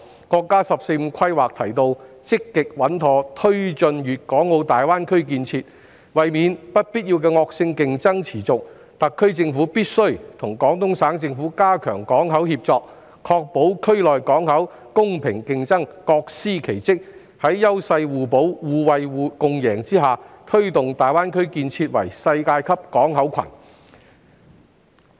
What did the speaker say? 國家"十四五"規劃提到"積極穩妥推進粵港澳大灣區建設"，為免不必要的惡性競爭持續，特區政府必須與廣東省政府加強港口協作，確保區內港口是公平競爭，各司其職，在優勢互補、互惠共贏下，推動大灣區建設為世界級港口群。